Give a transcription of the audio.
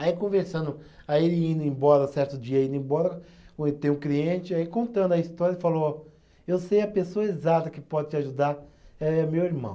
Aí conversando, aí ele indo embora, certo dia indo embora, o êh tem um cliente, aí contando a história, ele falou, eu sei a pessoa exata que pode te ajudar, é meu irmão.